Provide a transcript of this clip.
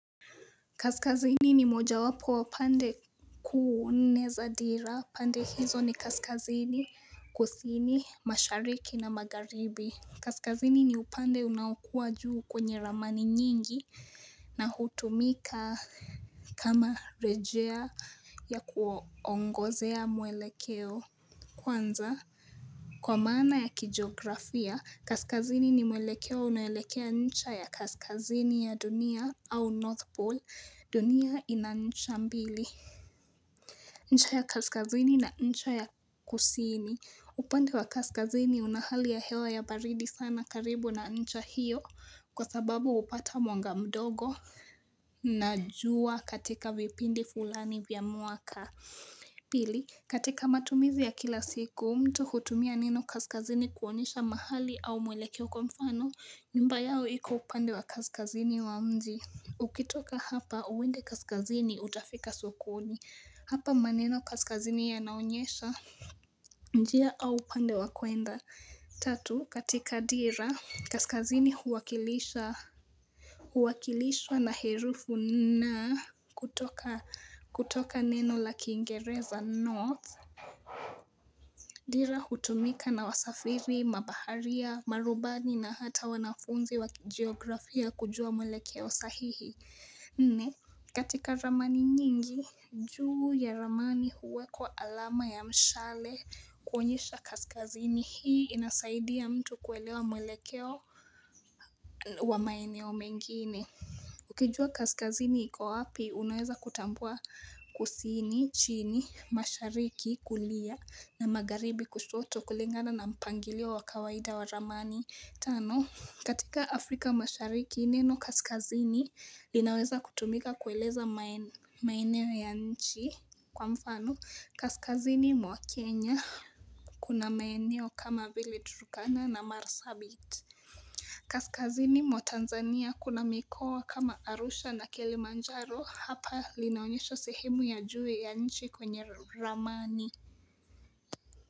Kaskazini ni moja wapo wapande ku nne za dhira, pande hizo ni kaskazini, kusini, mashariki na magaribi. Kaskazini ni upande unakua juu kwenye ramani nyingi na hutumika kama rejea ya kuongozea muelekeo. Kwanza, kwa maana ya kijografia, kaskazini ni mwelekeo unawelekea ncha ya kaskazini ya dunia au North pole, dunia ina ncha mbili. Ncha ya kaskazini na ncha ya kusini. Upande wa kaskazini unahali ya hewa ya baridi sana karibu na ncha hiyo kwa sababu upata mwanga mdogo na jua katika vipindi fulani vyamuaka. Pili, katika matumizi ya kila siku, mtu hutumia neno kaskazini kuonesha mahali au mwelekewo kwa mfano, nyumba yao iko upande wa kaskazini wa mji Ukitoka hapa, uwende kaskazini utafika sokoni, hapa maneno kaskazini yanaonyesha njia au upande wa kwenda Tatu katika dira kaskazini huwakilisha Huwakilishwa na herufu na kutoka kutoka neno la kingereza north Dira hutumika na wasafiri mabaharia marubani na hata wanafunzi wakijografia kujua mwelekeo sahihi nne katika ramani nyingi juu ya ramani huwa kwa alama ya mshale kuonyesha kaskazini hii inasaidiya mtu kuelewa mwelekeo wa maeneo mengine Ukijua kaskazini iko wapi unaweza kutambua kusini chini mashariki kulia na magaribi kusoto kulengana na mpangilia wa kawaida wa ramani tano katika Afrika mashariki neno Kaskazini linaweza kutumika kueleza maeneo ya nchi kwa mfano Kaskazini mwa Kenya Kuna maeneo kama vile Turkana na Marsabit Kaskazini mwa Tanzania kuna mikowa kama Arusha na Kilimanjaro hapa linaonyesho sehemu ya juwe ya nchi kwenye Ramani.